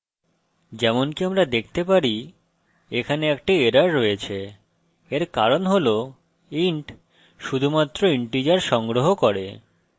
যেমনকি আমরা দেখতে পারি এখানে একটি error রয়েছে এর কারণ হল int শুধুমাত্র integers সংগ্রহ করে